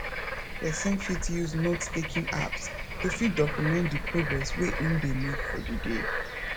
person fit use note taking apps to fit document di progress wey im dey make for di day